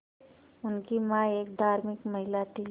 उनकी मां एक धार्मिक महिला थीं